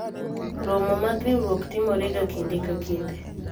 romo mag riwruok timore ga kinde ka kinde